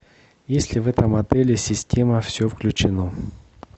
есть ли в этом отеле система все включено